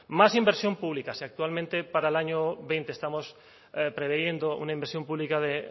más inversión pública si actualmente para el año veinte estamos previendo una inversión pública de